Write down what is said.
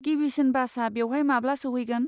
गिबिसिन बासा बेवहाय माब्ला सौहैगोन?